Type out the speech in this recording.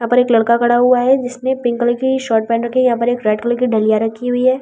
यहां पर एक लड़का खड़ा हुआ है जिसने पिंक कलर की शर्ट पेहनी है यहां पर एक रेड कलर की डलिया रखी हुई है।